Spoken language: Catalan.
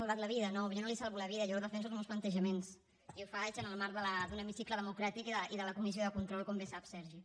no jo no li salvo la vida jo defenso els meus plantejaments i ho faig en el marc d’un hemicicle democràtic i de la comissió de control com bé sap sergi